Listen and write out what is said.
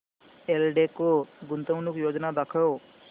एल्डेको गुंतवणूक योजना दाखव